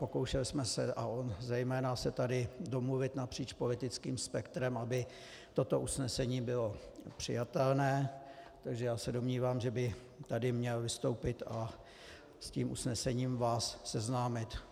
Pokoušeli jsme se, a on zejména, se tady domluvit napříč politickým spektrem, aby toto usnesení bylo přijatelné, takže já se domnívám, že by tady měl vystoupit a s tím usnesením vás seznámit.